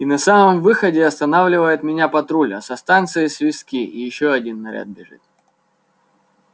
и на самом выходе останавливает меня патруль а со станции свистки и ещё один наряд бежит